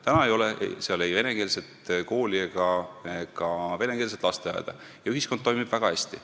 Täna ei ole seal ei venekeelset kooli ega ka venekeelset lasteaeda ja ühiskond toimib väga hästi.